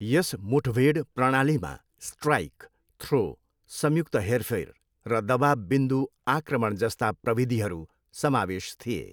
यस मुठभेड प्रणालीमा strike, throw, संयुक्त हेरफेर, र दबाब बिन्दु आक्रमण जस्ता प्रविधिहरू समावेश थिए।